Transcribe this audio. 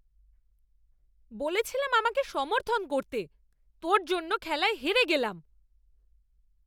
বলেছিলাম আমাকে সমর্থন করতে। তোর জন্য খেলায় হেরে গেলাম।